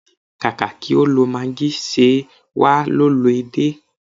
Kàkà kí o lo maagí, ṣe wà á lo edé?